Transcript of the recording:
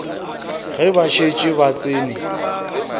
ge ba šetše ba tsene